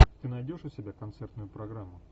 ты найдешь у себя концертную программу